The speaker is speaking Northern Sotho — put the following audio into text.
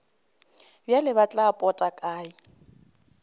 bjale tla ba pota kae